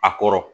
A kɔrɔ